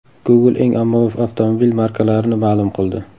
Google eng ommabop avtomobil markalarini ma’lum qildi.